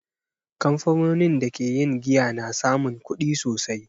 Kamfanonin da ke yin giya na samun kudi sosai.